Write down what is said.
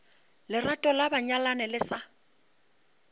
lerato la banyalani le sa